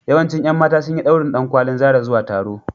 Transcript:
Yawancin ƴan mata sun yi ɗaurin ɗankwalin Zara zuwa taro.